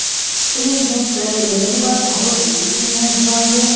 এই next এ সেইটো বাৰু নহল । এইটো next বাৰ যে